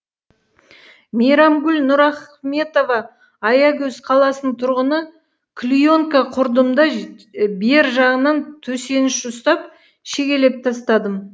мейрамгүл нұрахметова аягөз қаласының тұрғыны клеенка құрдым да бер жағынан төсеніш ұстап шегелеп тастадым